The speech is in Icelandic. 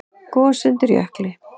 Gos undir jökli